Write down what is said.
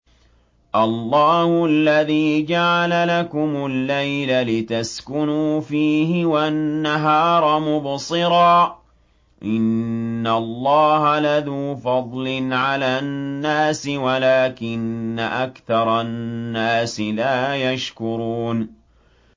اللَّهُ الَّذِي جَعَلَ لَكُمُ اللَّيْلَ لِتَسْكُنُوا فِيهِ وَالنَّهَارَ مُبْصِرًا ۚ إِنَّ اللَّهَ لَذُو فَضْلٍ عَلَى النَّاسِ وَلَٰكِنَّ أَكْثَرَ النَّاسِ لَا يَشْكُرُونَ